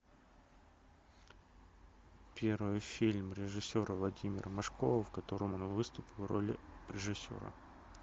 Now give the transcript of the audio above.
первый фильм режиссера владимира машкова в котором он выступил в роли режиссера